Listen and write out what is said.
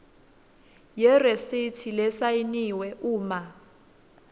yeresithi lesayiniwe uma